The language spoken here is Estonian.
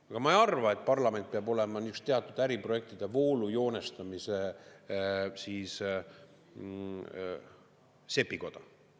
Aga ma ei arva, et parlament peab olema just teatud äriprojektide voolujoonestamise sepikoda.